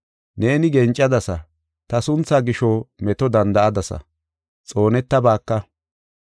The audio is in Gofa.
Neeni gencadasa; ta sunthaa gisho meto danda7adasa; xoonetabaaka.